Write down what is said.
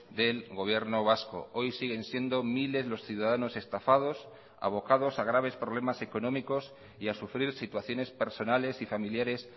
del gobierno vasco hoy siguen siendo miles los ciudadanos estafados avocados a graves problemas económicos y a sufrir situaciones personales y familiares